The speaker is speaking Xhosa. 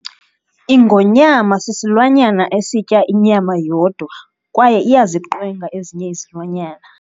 Ingonyama sisilwanyana esitya inyama yodwa kwaye iyaziqwenga ezinye izilwanyana.